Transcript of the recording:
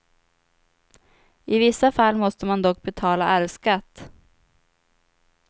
I vissa fall måste man dock betala arvsskatt.